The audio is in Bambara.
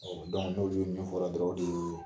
n'olu ye min f'ɔla dɔrɔn o de y'o ye.